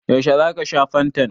Yaushe za ka sha fantan?